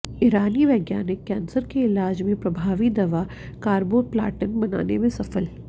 ईरानी वैज्ञानिक कैंसर के इलाज में प्रभावी दवा कैर्बोप्लाटिन बनाने में सफल